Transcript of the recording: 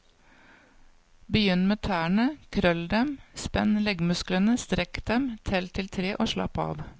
Begynn med tærne, krøll dem, spenn leggmusklene, strekk dem, tell til tre og slapp av.